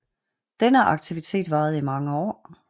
Denne aktivitet varede i mange år